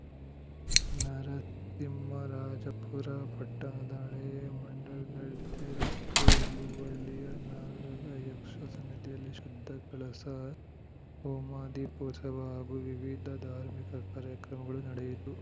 ನರಸಿಂಹರಾಜಪುರ ಪಟ್ಟಣದ ಹಳೇ ಮಂಡಗದ್ದೆ ರಸ್ತೆ ಹಿಳುವಳ್ಳಿಯ ನಾಗಯಕ್ಷ ಸನ್ನಿಧಿಯಲ್ಲಿ ಶುದ್ಧ ಕಳಸ ಹೋಮ ದೀಪೋತ್ಸವ ಹಾಗೂ ವಿವಿಧ ಧಾರ್ಮಿಕ ಕಾರ್ಯಕ್ರಮಗಳು ನಡೆಯಿತು